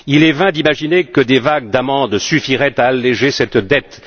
Il est vain d'imaginer que des vagues d'amendes suffiraient à alléger cette dette.